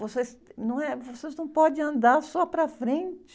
Vocês, não é? Vocês não podem andar só para frente.